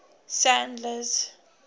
sandler's